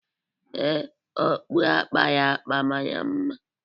Ee, okpu a kpara akpa mara mma